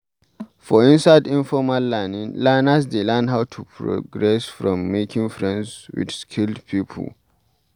For inside informal learning, learners dey learn how to progress from making friends with skilled pipo